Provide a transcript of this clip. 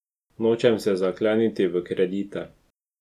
Nočem se zakleniti v kredite.